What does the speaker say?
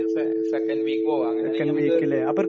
പിന്നെ നമുക്ക് second week പോകാം, അങ്ങനെയാണെങ്കിൽ നമുക്ക്...